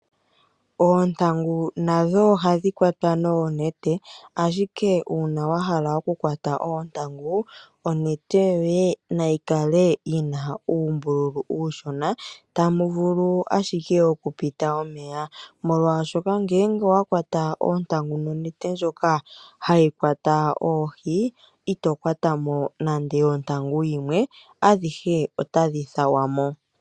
Ontangu nadho ohadhi kwatwa noonete. Ashike uuna wahala okukwata oontangu, onete yoye nayi kale yina uumbululu uushona, tamu vulu ashike okupita omeya molwaashoka ngele owakwatwa oontangu nonete ndjoka hayi kwata oohi, ito kwata mo nando oyo ontangu yimwe adhihe otadhi thawa mo.